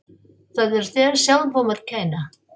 Það er þér sjálfum að kenna.